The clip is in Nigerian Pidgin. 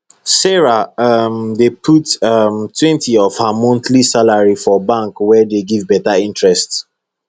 sarah um dey put [um]twentyof her monthly salari for bank account wey dey give beta interest